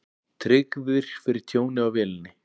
Tryggðir fyrir tjóni á vélinni